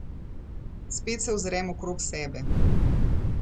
Spet se ozrem okrog sebe.